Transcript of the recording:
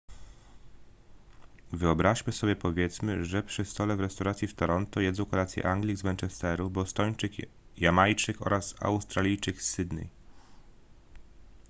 wyobraźmy sobie powiedzmy że przy stole w restauracji w toronto jedzą kolację anglik z manchesteru bostończyk jamajczyk oraz australijczyk z sydney